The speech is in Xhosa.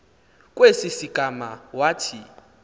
kwesi sigama wathi